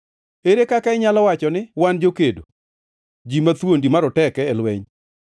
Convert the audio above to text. “Ere kaka inyalo wacho ni, ‘Wan jokedo, ji mathuondi maroteke e lweny’?”